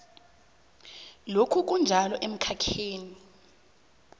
lokhu kunjalo emkhakheni